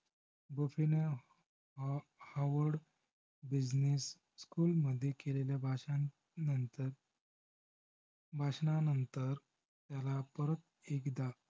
बफेन howard business school मध्ये केलेल्या भाषानंतर~भाषांनांनंतर त्याला परत एकदा